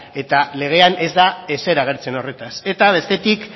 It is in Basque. eta legean ez da ezer agertzen horretaz eta bestetik